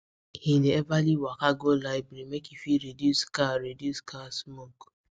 hin dey everly waka go library make e fit reduce car reduce car smoke